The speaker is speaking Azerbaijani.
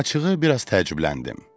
Açığı biraz təəccübləndim.